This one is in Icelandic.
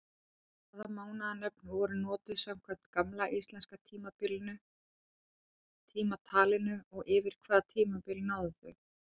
Hvaða mánaðanöfn voru notuð samkvæmt gamla íslenska tímatalinu og yfir hvaða tímabil náðu þau?